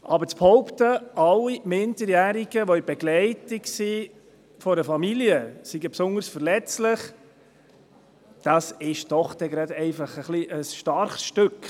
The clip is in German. Aber zu behaupten, dass alle von einer Familie begleiteten Minderjährigen besonders verletzlich seien, ist doch einfach ein bisschen ein starkes Stück.